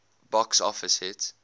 box office hit